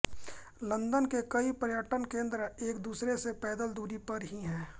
London के कई पर्यटन केंद्र एक दूसरे से पैदल दूरी पर ही हैं